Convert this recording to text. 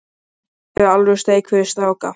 Hér er alvöru steik fyrir stráka.